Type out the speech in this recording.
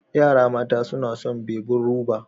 Yara mata suna son bebin ruba.